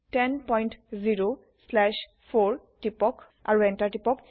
100 slash 4 টিপক আৰু Enter টিপক